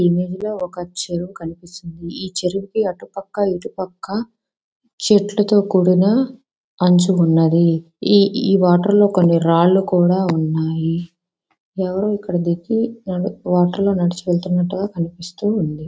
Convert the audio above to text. ఈ ఇమేజ్ లో ఒక చెరువు కనిపిస్తుంది. ఈ చెరువుకి అటుపక్క ఇటుపక్క చెట్లుతో కూడిన అంచు ఉన్నది. ఈ ఈ వాటర్ లో కొన్ని రాళ్లు కూడా ఉన్నాయి. ఎవరో ఇక్కడ దిగి నడు వాటర్ లో నడిచి వెళుతున్నట్లుగా కనిపిస్తుంది.